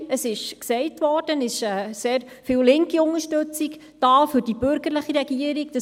Es wurde gesagt, es ist sehr viel linke Unter stützung für die bürgerliche Regierung da;